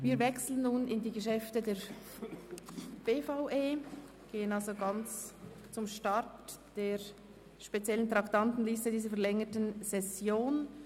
Wir wechseln nun zu den Geschäften der BVE und kommen damit zum Start der speziellen Traktandenliste dieser verlängerten Session.